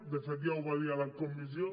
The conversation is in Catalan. de fet ja ho va dir a la comissió